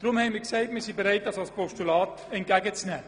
Deshalb sind wir bereit, die Anliegen als Postulate entgegenzunehmen.